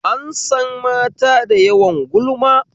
An san mata da yawan gulma